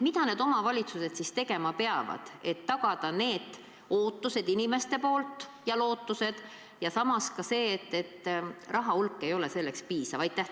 Mida peavad omavalitsused tegema, et tagada inimeste ootused ja lootused, kui samas on teada, et raha selleks ei piisa?